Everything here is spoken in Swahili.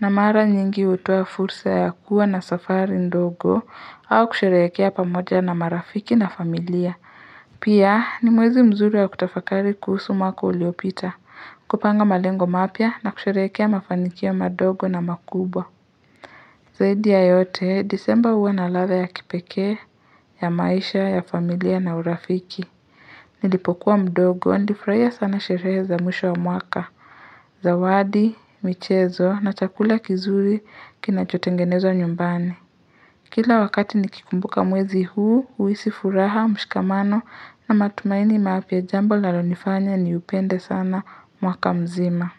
na mara nyingi hutoa fursa ya kuwa na safari ndogo au kusherehekea pamoja na marafiki na familia. Pia ni mwezi mzuri ya kutafakari kuhusu mwaka uliopita, kupanga malengo mapya na kusherehekea mafanikio madogo na makubwa. Zaidi ya yote, disemba huwa na ladha ya kipekee, ya maisha, ya familia na urafiki. Nilipokuwa mdogo nilifurahia sana sherehe za mwisho wa mwaka, zawadi, michezo na chakula kizuri kinachotengenezwa nyumbani. Kila wakati nikikumbuka mwezi huu, huhisi furaha, mshikamano na matumaini mapya jambo lalo nifanya ni upende sana mwaka mzima.